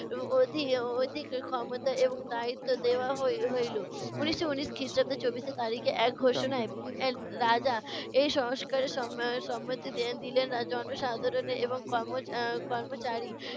অ~ অধিক অধিক ক্ষমতা এবং দায়িত্ব দেওয়া হই~ হইলো। উনিশশো ঊনিশ খ্রিস্টাব্দ চব্বিশো তারিখে এক ঘোষণায় রাজা এ সংস্কারের সম~ সম্মতি দিলেন। জনসাধারন এবং কর্ম আহ কর্মচারী